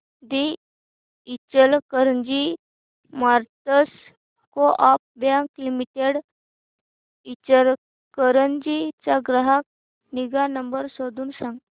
दि Ichalkaranji merchants co-op bank limited Ichalkaranji चा ग्राहक निगा नंबर शोधून सांग